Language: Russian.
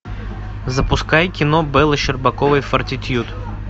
запускай кино беллы щербаковой фортитьюд